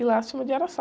E lá se chama de araçá.